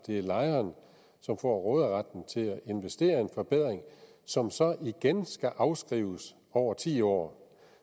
det er lejeren som får råderetten til at investere en forbedring som så igen skal afskrives over ti år